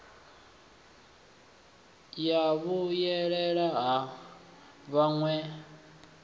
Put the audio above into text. ya vhuyelela ha vhaṋe vhayo